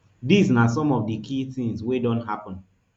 dis na some of di key tins wey don happun